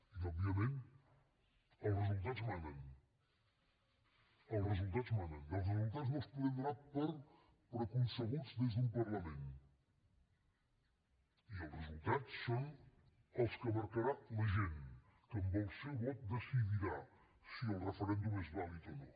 i òbviament els resultats manen els resultats manen i els resultats no els podem donar per preconcebuts des d’un parlament i els resultats són els que marcarà la gent que amb el seu vot decidirà si el referèndum és vàlid o no